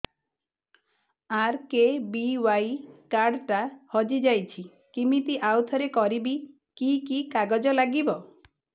RKBY card ଟା ହଜିଯାଇଛି କିମିତି ଆଉଥରେ କରିବି କି କି କାଗଜ ଲାଗିବ